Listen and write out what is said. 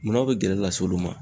Mun na, a be gɛlɛ lase olu ma